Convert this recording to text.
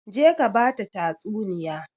Je ka ba ta tatsuniya!